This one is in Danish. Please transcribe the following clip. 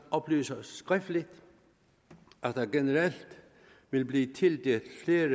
oplyser skriftligt at der generelt vil blive tildelt flere